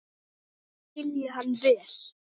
Mikið skil ég hann vel.